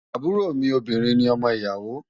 Àbúrò mi obìnrin ni ọmọ ìyàwó.